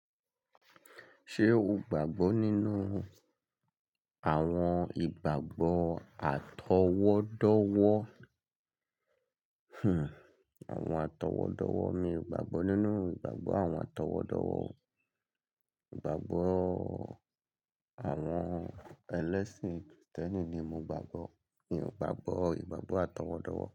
Ṣé o gbàgbọ́ nínú àwọn ìgbàgbọ́ atọwọ́dọ̀wọ̀? Hmm àwọn atọwọ́dọ̀wọ̀ mi ò gbàgbọ́ nínú ìgbàgbọ́ àwọn atọwọ́dọ̀wọ̀ o. Ìgbàgbọ́ àwọn ẹlẹ́sìn kìrìtẹ́nì ni mo gbàgbọ́. Mi ò gbàgbọ́ ìgbàgbọ́ atọwọ́dọ̀wọ̀